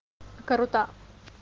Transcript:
круто